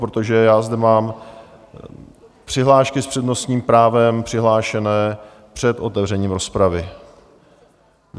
, protože já zde mám přihlášky s přednostním právem přihlášené před otevřením rozpravy.